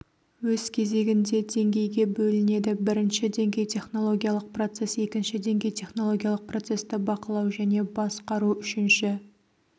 өз кезегінде деңгейге бөлінеді бірінші деңгей технологиялық процесс екінші деңгей технологиялық процесті бақылау және басқару үшінші